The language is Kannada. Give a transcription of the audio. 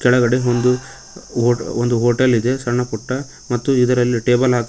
ಕೆಳಗಡೆ ಒಂದು ಹೊ ಒಂದು ಹೋಟೆಲ್ ಇದೆ ಸಣ್ಣ ಪುಟ್ಟ ಮತ್ತು ಇದರಲ್ಲಿ ಟೇಬಲ್ ಹಾಕಲಾ--